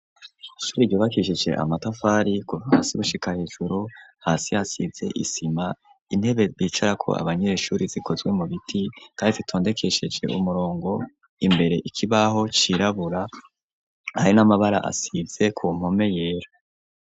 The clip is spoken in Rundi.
Ishure ryubakisheje amatafari kuva hasi gushika hejuru hasi hasize isima intebe bicara ko abanyereshure zikozwe mu biti kandise tondekesheje umurongo imbere ikibaho cirabura arin'amabara asize ku npome yera.